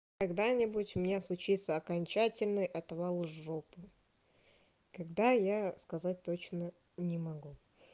когда нибудь у меня случится окончательный отвал жопы когда я сказать точно не могу